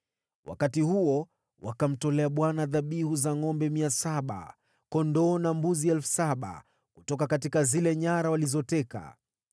Wakati huo wakamtolea Bwana dhabihu za ngʼombe 700, kondoo na mbuzi 7,000 kutoka zile nyara walizoteka.